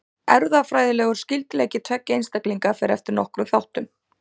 Erfðafræðilegur skyldleiki tveggja einstaklinga fer eftir nokkrum þáttum.